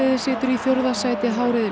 situr í fjórða sæti h riðils